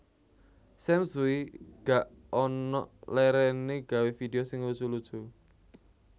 Sam Tsui gak onok leren e gawe video sing lucu lucu